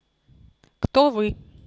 кто вы